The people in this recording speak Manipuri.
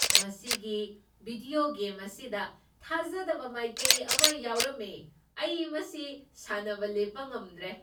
ꯃꯁꯤꯒꯤ ꯕꯤꯗ꯭ꯌꯣ ꯒꯦꯝ ꯑꯁꯤꯗ ꯊꯥꯖꯗꯕ ꯃꯥꯏꯀꯩ ꯑꯃ ꯌꯥꯎꯔꯝꯃꯦ ꯫ ꯑꯩ ꯃꯁꯤ ꯁꯥꯅꯕ ꯂꯦꯞꯄ ꯉꯝꯗ꯭ꯔꯦ !